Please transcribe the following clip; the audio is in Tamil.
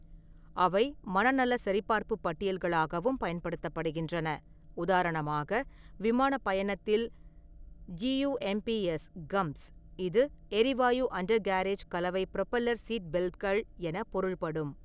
அவை மனநல சரிபார்ப்புப் பட்டியல்களாகவும் பயன்படுத்தப்படுகின்றன, உதாரணமாக விமானப் பயணத்தில்: "ஜியூஎம்பிஎஸ்"(கம்ப்ஸ்), இது "எரிவாயு-அண்டர்கேரேஜ்-கலவை-புரொப்பல்லர்-சீட்பெல்ட்கள்" என பொருள்படும்.